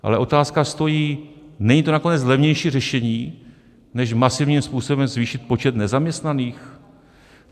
Ale otázka stojí: Není to nakonec levnější řešení než masivním způsobem zvýšit počet nezaměstnaných?